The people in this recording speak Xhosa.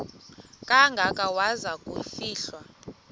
kangaka waza kufihlwa